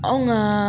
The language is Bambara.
Anw ŋaa